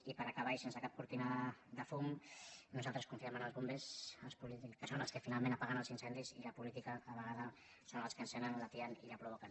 i per acabar i sense cap cortina de fum nosaltres confiem en els bombers que són els que finalment apaguen els incendis i la política a vegades són els que l’encenen l’atien i que el provoquen